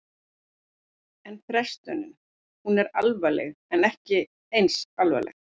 En frestunin, hún er alvarleg en ekki eins alvarleg?